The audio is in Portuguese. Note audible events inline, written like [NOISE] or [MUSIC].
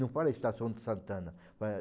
Não fala estação de santana. [UNINTELLIGIBLE]